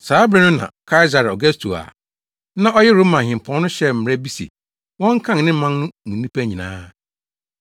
Saa bere no na Kaesare Augusto a na ɔyɛ Roma hempɔn no hyɛɛ mmara bi se wɔnkan ne man no mu nnipa nyinaa.